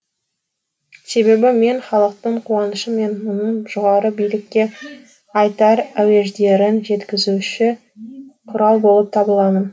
себебі мен халықтың қуанышы мен мұңын жоғары билікке айтар әуеждерін жеткізуші құрал болып табыламын